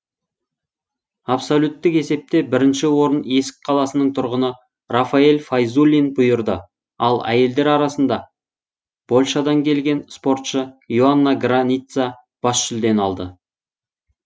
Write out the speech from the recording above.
абсолюттік есепте бірінші орын есік қаласының тұрғыны рафаэль файзуллин бұйырды ал әйелдер арасында польшадан келген спортшы и оанна граница бас жүлдені алды